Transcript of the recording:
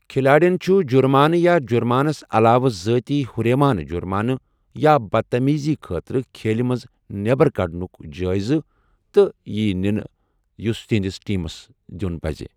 کھلاڑٮ۪ن چھُ جرمانہٕ یا جرمانَس علاوٕ ذٲتی ہُریمانہٕ جُرمانہٕ یا بدتعمیٖزی خٲطرٕ کھیلہِ منٛز نٮ۪بر کڑنُک جٲیزٕ تہِ ییہِ نِنہٕ یُس تہنٛدِس ٹیمَس دِیُن پٔزِ۔